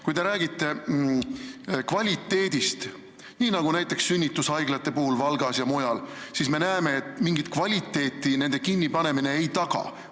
Kui teie räägite kvaliteedist, nii nagu sünnitushaiglate puhul Valgas ja mujal, siis me näeme, et mingit kvaliteeti nende kinnipanemine ei taga.